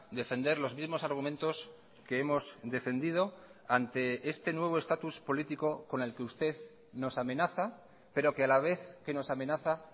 defender los mismos argumentos que hemos defendido ante este nuevo estatus político con el que usted nos amenaza pero que a la vez que nos amenaza